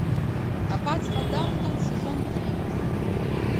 аббатство даунтон сезон три